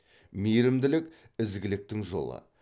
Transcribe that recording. мейірімділік ізгіліктің жолы